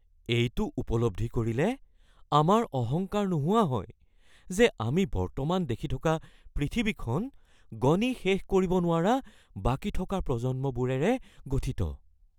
এইটো উপলব্ধি কৰিলে আমাৰ অহংকাৰ নোহোৱা হয় যে আমি বৰ্তমান দেখি থকা পৃথিৱীখন গণি শেষ কৰিব নোৱৰা বাকী থকা প্ৰজন্মবোৰেৰে গঠিত।